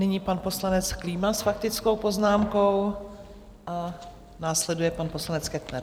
Nyní pan poslanec Klíma s faktickou poznámkou a následuje pan poslanec Kettner.